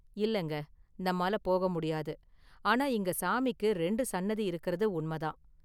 இல்லங்க நம்மால போக முடியாது; ஆனா இங்க சாமிக்கு ரெண்டு சன்னதி இருக்கறது உண்ம தான்.